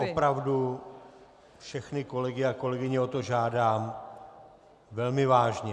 Opravdu všechny kolegy a kolegyně o to žádám velmi vážně!